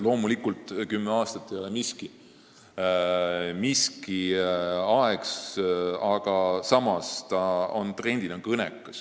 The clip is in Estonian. Loomulikult ei ole kümme aastat pikk aeg, samas on ta trendina kõnekas.